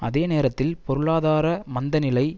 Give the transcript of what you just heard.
அதே நேரத்தில் பொருளாதார மந்த நிலை